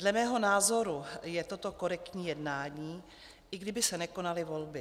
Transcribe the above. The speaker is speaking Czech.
Dle mého názoru je toto korektní jednání, i kdyby se nekonaly volby.